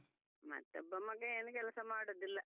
ಮತ್ತೊಬ್ಬ ಮಗ ಏನ್ ಕೆಲಸ ಮಾಡುದಿಲ್ಲ.